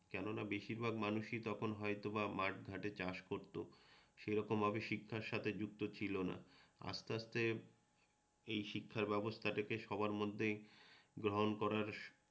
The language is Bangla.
কেননা বেশির ভাগ মানুষই তখন মাথ-ঘাটে চাষ করতো সেরকমভাবে শিক্ষার সাথে যুক্ত ছিলনা। আসতে আসতে এই শিক্ষার ব্যবস্থাটাকে সবার মধ্যে গ্রহণ করার